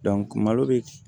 malo bɛ